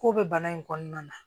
K'o bɛ bana in kɔnɔna na